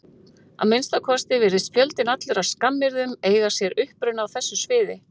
Að minnsta kosti virðist fjöldinn allur af skammaryrðum eiga sér uppruna á þessu sviði.